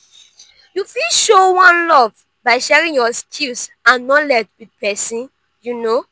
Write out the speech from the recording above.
you fit show one love by sharing your skills and knowledge with pesin.